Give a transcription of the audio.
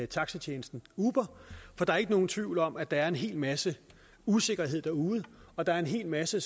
taxatjenesten uber for der er ikke nogen tvivl om at der er en hel masse usikkerheder derude og der er en hel masse